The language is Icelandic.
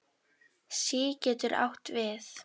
SÍ getur átt við